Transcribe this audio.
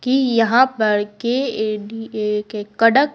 कि यहाँ पर के_ए_डी _ए_के कड़क--